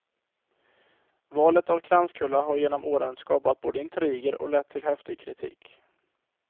Valet av kranskulla har genom åren skapat både intriger och lett till häftig kritik.